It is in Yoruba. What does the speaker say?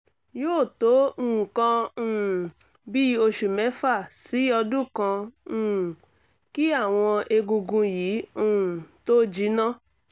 yóò tó nǹkan um bíi oṣù mẹ́fà sí ọdún kan um kí àwọn egungun yìí um tó jinná